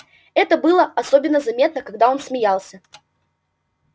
это было особенно заметно когда он смеялся